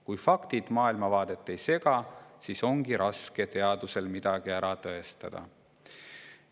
Kui faktid maailmavaadet ei sega, siis ongi teadusel raske midagi ära tõestada.